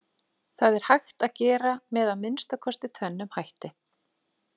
Það er hægt að gera með að minnsta kosti tvennum hætti.